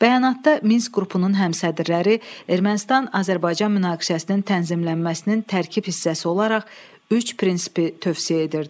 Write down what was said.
Bəyanatda Minsk qrupunun həmsədrləri Ermənistan-Azərbaycan münaqişəsinin tənzimlənməsinin tərkib hissəsi olaraq üç prinsipi tövsiyə edirdi.